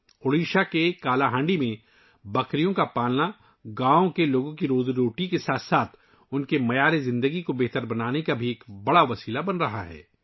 اوڈیشہ میں کالاہانڈی میں بکری پالن ، گاؤں کے لوگوں کی روزی روٹی کے ساتھ ساتھ ، ان کے معیار زندگی کو بہتر بنانے کا ایک بڑا ذریعہ بن رہا ہے